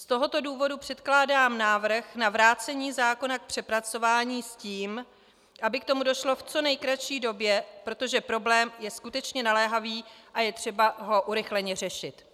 Z tohoto důvodu předkládám návrh na vrácení zákona k přepracování s tím, aby k tomu došlo v co nejkratší době, protože problém je skutečně naléhavý a je třeba ho urychleně řešit.